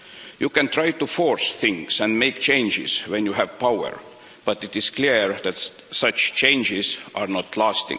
You can try to force things and make changes when you have power, but it is clear that such changes do not last.